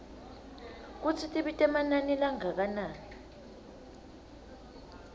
kutsi tibita emanani langakanani